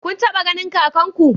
Kun taba ganin kakanku?